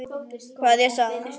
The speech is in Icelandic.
Kveðja, Saga.